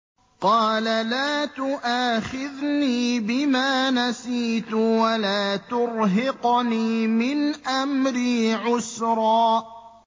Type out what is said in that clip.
قَالَ لَا تُؤَاخِذْنِي بِمَا نَسِيتُ وَلَا تُرْهِقْنِي مِنْ أَمْرِي عُسْرًا